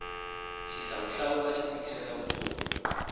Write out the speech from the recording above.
xihlawuhlawu axi tikisela vutomi